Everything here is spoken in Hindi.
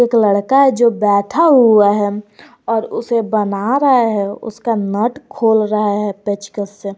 एक लड़का है जो बैठा हुआ है और उसे बना रहा है उसका नट खोल रहा है पेचकस से।